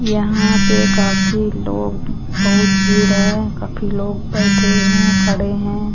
यहां पे काफी लोग बहुत भीड़ है काफी लोग बैठे हैं खड़े हैं।